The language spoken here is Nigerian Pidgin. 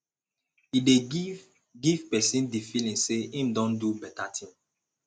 e dey give give person di feeling sey im don do better thing